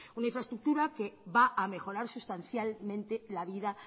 una infraestructura que va a mejorar sustancialmente la vida